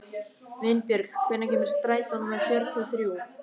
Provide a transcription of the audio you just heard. Vinbjörg, hvenær kemur strætó númer fjörutíu og þrjú?